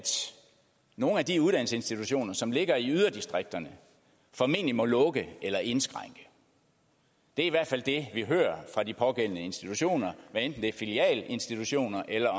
nogle af de uddannelsesinstitutioner som ligger i yderdistrikterne formentlig må lukke eller indskrænke det er i hvert fald det vi hører fra de pågældende institutioner hvad enten det er filialinstitutioner eller